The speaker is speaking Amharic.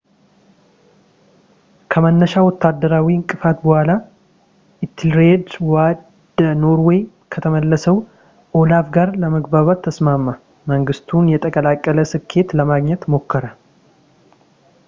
ከመነሻ ወታደራዊ እንቅፋት በኋላ ፣ ኢቴልሬድ ወደ ኖርዌይ ከተመለሰው ኦላፍ ጋር ለመግባባት ተስማማ ፣ መንግሥቱን የተቀላቀለ ስኬት ለማግኘት ሞከረ